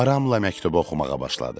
Aramla məktubu oxumağa başladım.